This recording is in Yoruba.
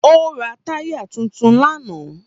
Ó ra táyà tuntun lánàá.